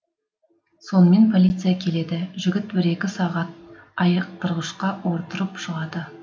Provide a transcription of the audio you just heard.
сонымен полиция келеді жігіт бір екі сағат айықтырғышқа отырып шығады